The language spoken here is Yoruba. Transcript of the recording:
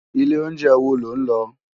Ilé óunjè wó ló n lò?